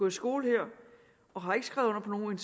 i skole her og har ikke skrevet under på nogen